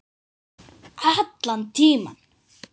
Allan tímann.